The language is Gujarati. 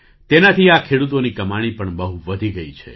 તેનાથી આ ખેડૂતોની કમાણી પણ બહુ વધી ગઈ છે